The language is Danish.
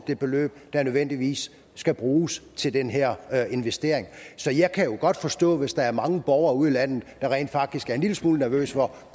det beløb der nødvendigvis skal bruges til den her her investering så jeg kan jo godt forstå hvis der er mange borgere ude i landet der rent faktisk er en lille smule nervøse for